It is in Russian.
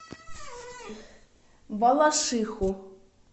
балашиху